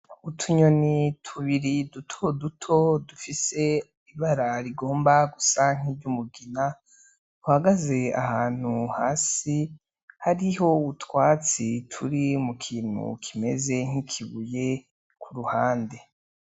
Utunyoni tubiri dutoduto dufise ibara rigomba gusa nk'iryumugina duhagaze ahantu hasi hariho utwatsi turi mu kintu kimeze nk'ikibuye kuruhande.